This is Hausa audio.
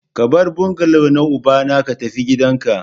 Ka bar bungalow na ubana ka tafi gidanka!